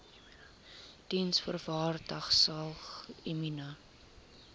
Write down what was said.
diensvoorwaardesalgemene